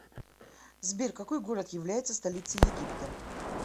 сбер какой город является столицей египта